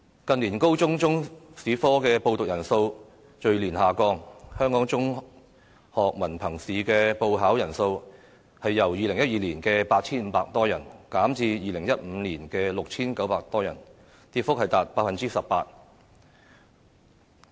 近年高中中史科的報讀人數逐年下降，香港中學文憑試的報考人數亦由2012年的 8,500 多人，減至2015年的 6,900 多人，跌幅達 18%。